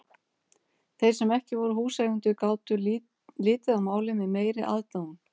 Þeir sem ekki voru húseigendur gátu litið á málið með meiri aðdáun.